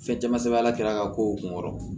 Fɛn caman sɛbɛn ala kira ka kow kun kɔrɔ